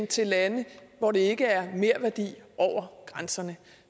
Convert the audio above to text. til lande hvor det ikke er merværdi over grænserne